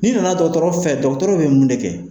N'i nana dɔgɔtɔɔrɔ fɛ dɔgɔtɔrɔ bɛ mun de kɛ